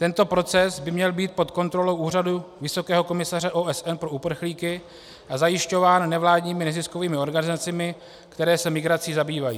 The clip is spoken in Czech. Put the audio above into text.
Tento proces by měl být pod kontrolou Úřadu vysokého komisaře OSN pro uprchlíky a zajišťován nevládními neziskovými organizacemi, které se migrací zabývají.